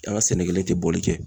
An ka sɛnɛkɛli tɛ boli kɛ.